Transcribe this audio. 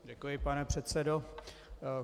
Děkuji, pane předsedo.